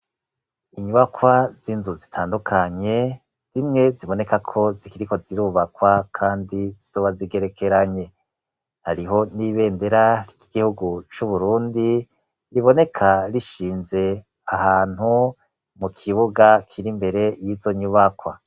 Inyubakwa z'inzu zitandukanye, zimwe ziboneka ko zikiriko zirubakwa, kandi zizoba zigerekeranye; hariho n'ibendera ry'igihugu c'uburundi, riboneka rishinze ahantu, mu kibuga kiri imbere y'izo nyubakwa.